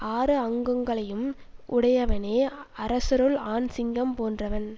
ஆறு அங்கங்களையும் உடையவனே அரசருள் ஆண் சிங்கம் போன்றவன்